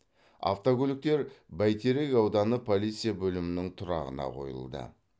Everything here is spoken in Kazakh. автокөліктер бәйтерек ауданы полиция бөлімінің тұрағына қойылды